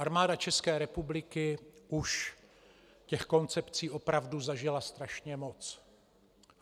Armáda České republiky už těch koncepcí opravdu zažila strašně moc.